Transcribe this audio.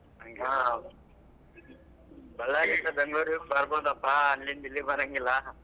ಹಾ Ballari ಯಿಂದ Bangalore ಗೆ ಬರ್ಬೋದಪಾ ಅಲ್ಲಿಂದ್ ಇಲ್ಲಿಗೆ ಬರಂಗಿಲ್ಲಾ.